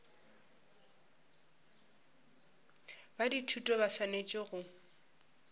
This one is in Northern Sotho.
ba dithuto ba swanetše go